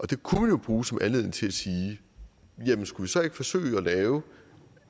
det kunne man jo bruge som anledning til at sige jamen skulle vi så ikke forsøge at lave